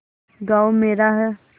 गॉँव मेरा है